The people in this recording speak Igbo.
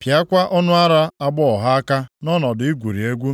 pịakwa ọnụ ara agbọghọ ha aka nʼọnọdụ igwuri egwu.